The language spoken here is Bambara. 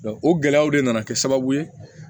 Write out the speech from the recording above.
o gɛlɛyaw de nana kɛ sababu ye